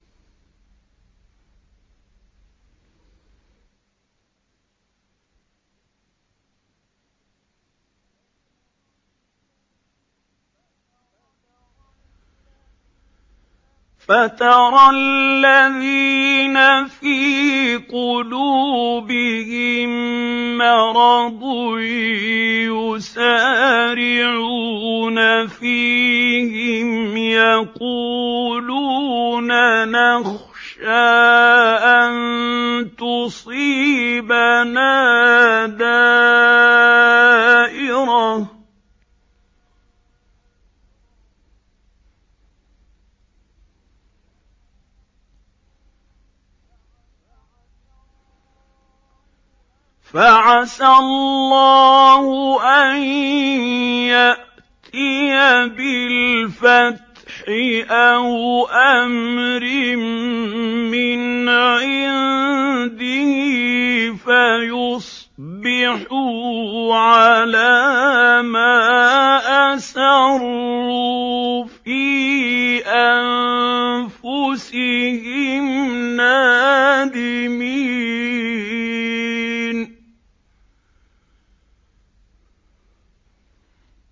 فَتَرَى الَّذِينَ فِي قُلُوبِهِم مَّرَضٌ يُسَارِعُونَ فِيهِمْ يَقُولُونَ نَخْشَىٰ أَن تُصِيبَنَا دَائِرَةٌ ۚ فَعَسَى اللَّهُ أَن يَأْتِيَ بِالْفَتْحِ أَوْ أَمْرٍ مِّنْ عِندِهِ فَيُصْبِحُوا عَلَىٰ مَا أَسَرُّوا فِي أَنفُسِهِمْ نَادِمِينَ